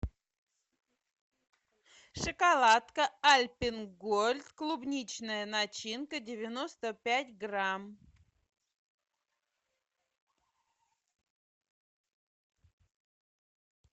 шоколадка альпен гольд клубничная начинка девяносто пять грамм